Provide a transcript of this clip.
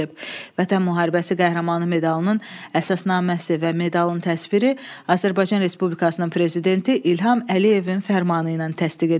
Vətən Müharibəsi Qəhrəmanı medalının əsasnaməsi və medalın təsviri Azərbaycan Respublikasının Prezidenti İlham Əliyevin fərmanı ilə təsdiq edilib.